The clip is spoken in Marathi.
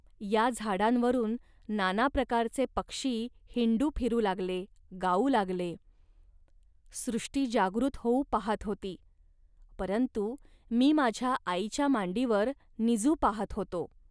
या झाडांवरून नाना प्रकारचे पक्षी हिंडू फिरू लागले, गाऊ लागले. सृष्टी जागृत होऊ पाहत होती, परंतु मी माझ्या आईच्या मांडीवर निजू पाहत होतो